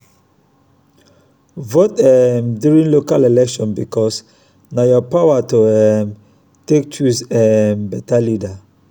vote um during local election bikos na yur power to um take choose um beta leader